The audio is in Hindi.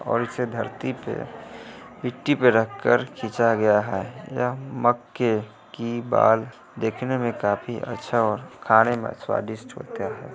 और इसे धरती पे मिट्टी पे रखकर खिचा गया है यह मक्के की बाल देखने में काफी अच्छा और खाने में स्वादिष्ट होता है।